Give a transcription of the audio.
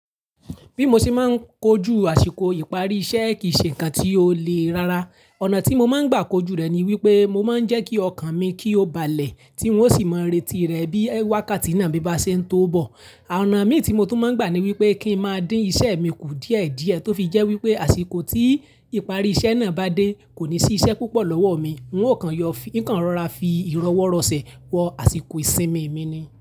Bí mo ṣe máa ń kojú àsìkò ìparí iṣẹ́ kì í ṣe ǹkan tí ó lè rára. Ọ̀nà tí mo máa ń gbà kojú rẹ̀ ni wípé mo máa ń jẹ́ kí ọkàn mi kí ó balẹ̀ tí n ó sì máa ń retí rẹ̀ bí wákàtí náà bibá ṣe ń tó bọ̀. Ọ̀nà mí tí mo tún máa ń gbà ni wípé kí n má dín iṣẹ́ mi kù díẹ̀ díẹ̀ tó fi jẹ́ wípé àsìkò tí ìparí iṣẹ́ náà bá dé kò ní sí iṣẹ́ púpọ̀ lọ́wọ́ mi. N óò kàn yọ, n kan rọra fi ìrọwọ́rọ̀sẹ̀ wọ àsìkò ìsinmi mi ni.